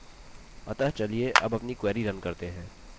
अतः चलिए अब अपनी query रन करते हैं